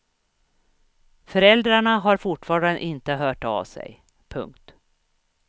Föräldrarna har fortfarande inte hört av sig. punkt